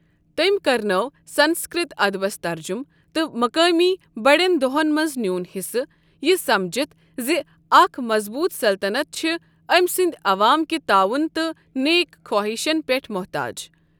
تٔمۍ کرنٲو سنسکرت ادبس ترجُمہٕ، تہٕ مُقٲمی بٔڑٮ۪ن دۄہن منٛز نیون حصہٕ، یہٕ سمجھتھ زِ اکھ مَظبوٗط سلطنت چھِ أمۍ سنٛد عَوام کہ تعاوُن تہٕ نیک خواہشن پٮ۪ٹھ محتاج۔